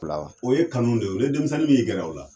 pilawa o ye kanu de ye o ni denmisɛnnin min y'i gɛrɛ ola